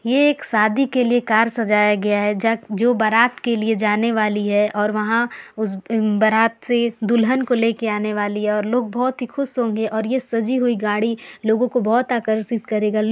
ये एक शादी के लिऐ कार सजाया गया है ज जो जहां बारात के लिए जाने वाली है और वहां उस बारात से दुल्हन को ले के आने वाली है और लोग बहुत ही खुश होंगे और ये सजी हुई गाड़ी लोगो को बहुत आकर्षित करेगा लोग--